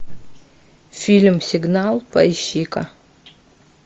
фильм сигнал поищи ка